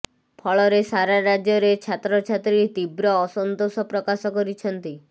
ଫଳରେ ସାରା ରାଜ୍ୟରେ ଛାତ୍ରଛାତ୍ରୀ ତୀବ୍ର ଅସନ୍ତୋଷ ପ୍ରକାଶ କରିଛନ୍ତି